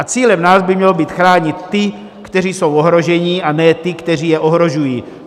A cílem nás by mělo být chránit ty, kteří jsou ohrožení, a ne ty, kteří je ohrožují.